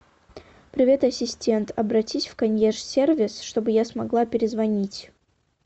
привет ассистент обратись в консьерж сервис чтобы я смогла перезвонить